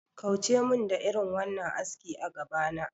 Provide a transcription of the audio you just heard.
Kauce mun da irin wannan aski a gabana